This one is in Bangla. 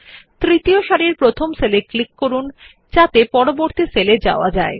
তৃতীয় সারির প্রথম সেল এ ক্লিক করুন যাতে পরবর্তী সেল এ যাওয়া যায়